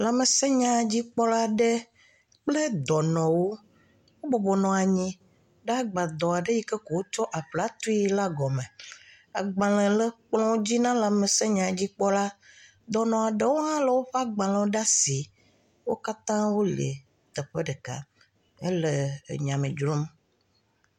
Lãmesenyadzikpɔla aɖe le kple dɔnɔwo wo bɔbɔnɔ anyi ɖe agbadɔ aɖe yi ke wokɔ aƒla tui la gɔ me. Agbale le kplɔ dzi na lãmesenyadzikpɔla. Dɔnɔ aɖe hã le woƒe agbalewo ɖe asi